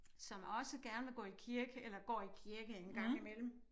Som også gerne vil gå i kirke eller går i kirke en gang imellem